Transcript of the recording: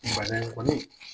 fana in kɔni